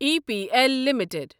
E P L limited